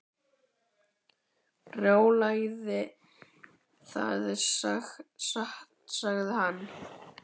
Brjálæði, það er satt sagði hann.